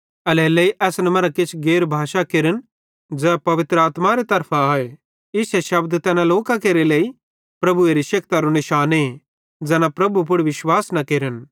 एल्हेरेलेइ असन मरां किछ गैर भाषा केरन ज़ै पवित्र आत्मारे तरफां आए इश्शे शब्द तैन लोकां केरे लेइ प्रभुएरे शेक्तिरो निशाने ज़ैना प्रभु पुड़ विश्वास न केरन